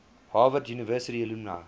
harvard university alumni